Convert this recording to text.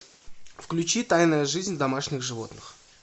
включи тайная жизнь домашних животных